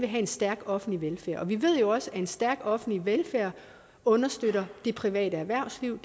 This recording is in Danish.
have en stærk offentlig velfærd vi ved jo også at en stærk offentlig velfærd understøtter det private erhvervsliv